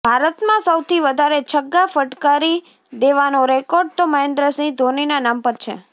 ભારતમાં સૌથી વધારે છગ્ગા ફટકારી દેવાનો રેકોર્ડ તો મહેન્દ્રસિંહ ધોનીના નામ પર છે